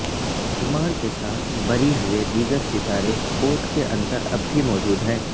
سلمان کے ساتھ بری ہوئے دیگر ستارے کورٹ کے اندر اب بھی موجود ہیں